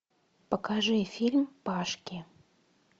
покажи фильм пашки